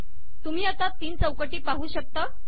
तुम्ही आता तीन चौकटी पाहू शकता